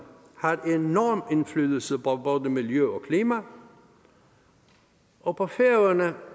har enorm indflydelse på både miljø og klima og på færøerne